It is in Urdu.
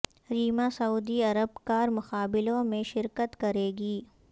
ریما سعودی عرب کار مقابلوں میں شرکت کریں گی